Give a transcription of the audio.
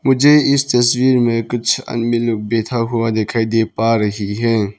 मुझे इस तस्वीर में कुछ आदमी लोग बैठा हुआ दिखाई दे पा रही है।